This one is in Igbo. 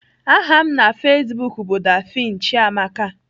Aha m na Facebook bụ Daphne Chiamaka